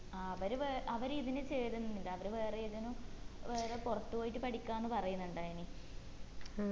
ആ അവര് വേറെ അവര് ഇതിന് ചേരുന്നില്ല അവര് വേറെ ഏതിനോ വേറെ പുറത്തു പോയി പഠിക്കാന് പറയുന്നുണ്ടായിന്